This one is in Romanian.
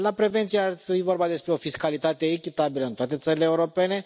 La prevenție ar fi vorba despre o fiscalitate echitabilă în toate țările europene.